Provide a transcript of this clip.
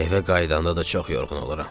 Evə qayıdanda da çox yorğun oluram.